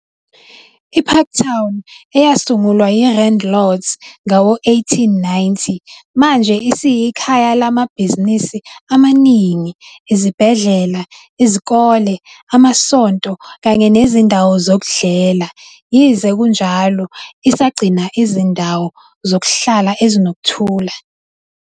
I-Parktown, eyasungulwa yi-Randlords ngawo-1890, manje isiyikhaya lamabhizinisi amaningi, izibhedlela, izikole, amasonto kanye nezindawo zokudlela, yize kunjalo isagcina izindawo zokuhlala ezinokuthula.